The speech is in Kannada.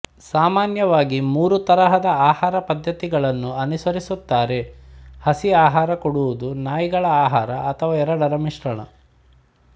ಸಾಮಾನ್ಯವಾಗಿ ಮೂರು ತರಹದ ಆಹಾರ ಪದ್ಧತಿಗಳನ್ನು ಅನುಸರಿಸುತ್ತಾರೆಹಸಿ ಆಹರ ಕೊಡುವುದುನಾಯಿಗಳ ಆಹಾರಅಥವಾ ಎರಡರ ಮಿಶ್ರಣ